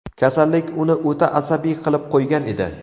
Kasallik uni o‘ta asabiy qilib qo‘ygan edi.